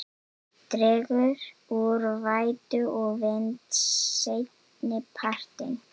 Dregur úr vætu og vindi seinnipartinn